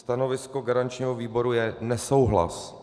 Stanovisko garančního výboru je nesouhlas.